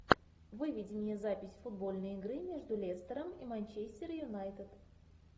выведи мне запись футбольной игры между лестером и манчестер юнайтед